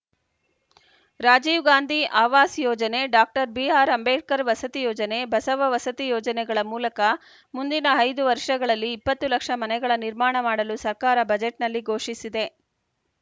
ರಾಜೀವ್‌ ಗಾಂಧಿ ಆವಾಸ್‌ ಯೋಜನೆ ಡಾಬಿಆರ್‌ಅಂಬೇಡ್ಕರ್‌ ವಸತಿ ಯೋಜನೆ ಬಸವ ವಸತಿ ಯೋಜನೆಗಳ ಮೂಲಕ ಮುಂದಿನ ಐದು ವರ್ಷಗಳಲ್ಲಿ ಇಪ್ಪತ್ತು ಲಕ್ಷ ಮನೆಗಳ ನಿರ್ಮಾಣ ಮಾಡಲು ಸರ್ಕಾರ ಬಜೆಟ್‌ನಲ್ಲಿ ಘೋಷಿಸಿದೆ